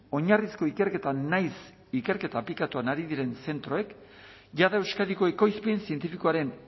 oinarrizko ikerketa nahiz ikerketa aplikatuan ari diren zentroek jada euskadiko ekoizpen zientifikoaren